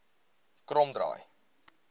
kromdraai